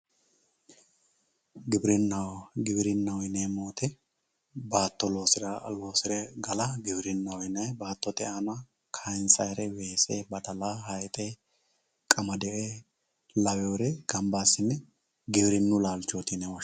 Giwirinaho, giwirinaho yineemmo woyte baatto loosire galla giwirinaho yinanni baattote aana kayinsannire weese badala hayxe qamade lawinore gamba assine giwirinu laalchoti yine woshshinanni.